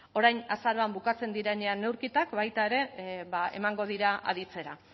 orain azaroan bukatzen direnean neurketak baita ere ba emango dira aditzera